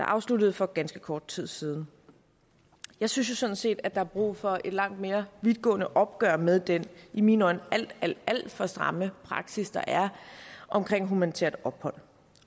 afsluttede for ganske kort tid siden jeg synes sådan set at der er brug for et langt mere vidtgående opgør med den i mine øjne alt alt alt for stramme praksis der er omkring humanitært ophold